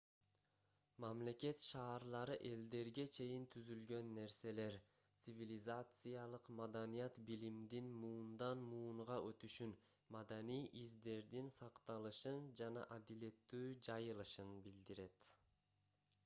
мамлекет шаарлары элдерге чейин түзүлгөн нерселер цивилизациялык маданият билимдин муундан муунга өтүшүн маданий издердин сакталышын жана адилеттүү жайылышын билдирет